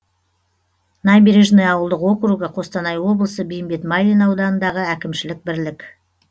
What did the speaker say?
набережный ауылдық округі қостанай облысы бейімбет майлин ауданындағы әкімшілік бірлік